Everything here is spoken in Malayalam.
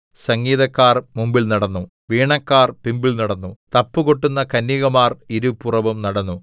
സംഗീതക്കാർ മുമ്പിൽ നടന്നു വീണക്കാർ പിമ്പിൽ നടന്നു തപ്പുകൊട്ടുന്ന കന്യകമാർ ഇരുപുറവും നടന്നു